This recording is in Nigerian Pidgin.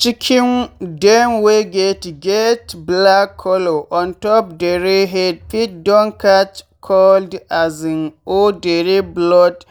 chicken dem wey get get black color ontop dere head fit don catch cold um or dere blood